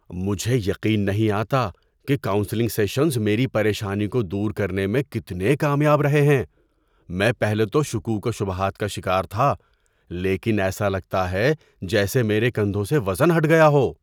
مجھے یقین نہیں آتا کہ کونسلنگ سیشنز میری پریشانی کو دور کرنے میں کتنے کامیاب رہے ہیں۔ میں پہلے تو شکوک و شبہات کا شکار تھا، لیکن ایسا لگتا ہے جیسے میرے کندھوں سے وزن ہٹ گیا ہو۔